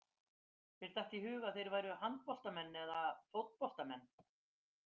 Mér datt í hug að þeir væru handboltamenn eða fótboltamenn.